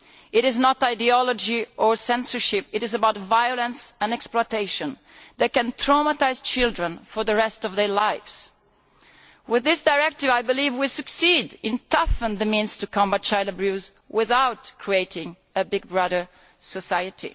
It is not about ideology or censorship, it is about violence and exploitation that can traumatise children for the rest of their lives. With this directive I believe we will succeed in strengthening the means to combat child abuse without creating a Big Brother society.